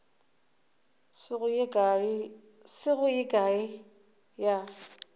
se go ye kae ya